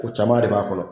Ko caman de b'a kɔnɔ